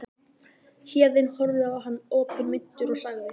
Héðinn horfði á hann opinmynntur og sagði